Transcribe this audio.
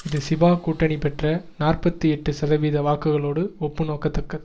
இது ஷிபா கூட்டணி பெற்ற நாற்பத்தி எட்டு சதவீத வாக்குகளோடு ஒப்பு நோக்கத்தக்கது